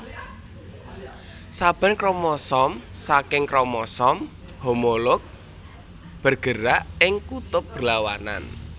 Saben kromosomsaking kromosom homolog bergerak ing kutub berlawanan